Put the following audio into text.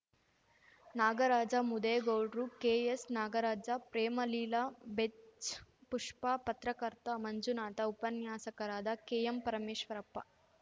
ನಾಗರಾಜ ಮುದೇಗೌಡ್ರು ಕೆಎಸ್‌ನಾಗರಾಜ ಪ್ರೇಮಲೀಲಾ ಬೆಚ್‌ಪುಷ್ಪಾ ಪತ್ರಕರ್ತ ಮಂಜುನಾಥ ಉಪನ್ಯಾಸಕರಾದ ಕೆಎಂಪರಮೇಶ್ವರಪ್ಪ